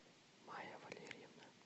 майя валерьевна